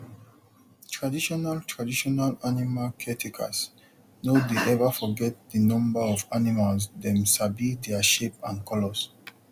traditional traditional animal caretakers no dey ever forget the number of animalsdem sabi their shape and color